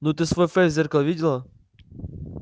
ну ты свой фейс в зеркало видела